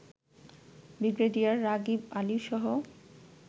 brigadier Ragib আলিসহ